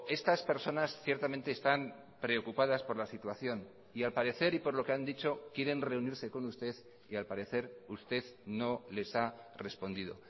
estas personas ciertamente están preocupadas por la situación y al parecer y por lo que han dicho quieren reunirse con usted y al parecer usted no les ha respondido